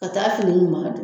Ka taa fini